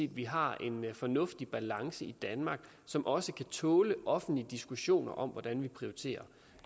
at vi har en fornuftig balance i danmark som også kan tåle offentlige diskussioner om hvordan vi prioriterer